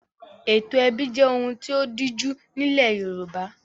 Ètò ẹbí jẹ́ ohun tí ó díjú nílẹ̀ Yorùbá.